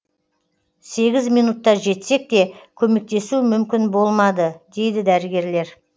сегіз минутта жетсек те көмектесу мүмкін болмады дейді дәрігерлер